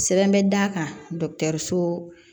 Sɛbɛn bɛ d'a kan dɔgɔtɔrɔso